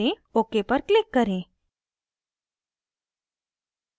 ok पर click करें